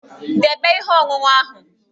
Debe ihe ọṅụṅụ ahụ!